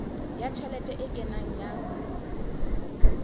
ya tjhelete e kenang ya